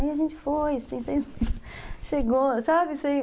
Aí a gente foi, assim, chegou, sabe?